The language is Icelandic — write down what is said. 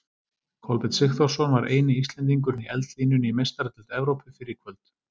Kolbeinn Sigþórsson var eini Íslendingurinn í eldlínunni í Meistaradeild Evrópu fyrr í kvöld.